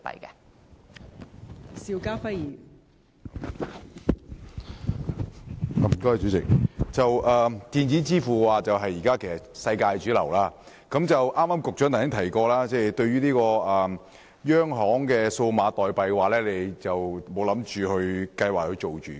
代理主席，現時電子支付是世界的主流，局長剛才提到，就央行發行數碼貨幣，當局現時仍未有計劃發行。